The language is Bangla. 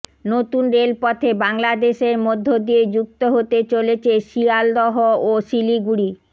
নতুন রেলপথে বাংলাদেশের মধ্য দিয়ে যুক্ত হতে চলেছে শিয়ালদহ ও শিলিগুড়ি